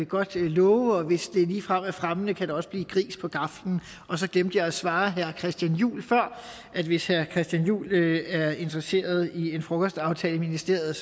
godt love og hvis det ligefrem er fremmende kan der også blive gris på gaflen og så glemte jeg at svare herre christian juhl før at hvis herre christian juhl er interesseret i en frokostaftale i ministeriet